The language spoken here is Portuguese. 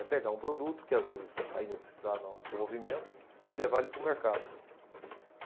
É pegar um produto que, às vezes, ainda está no desenvolvimento e levar ele para o mercado.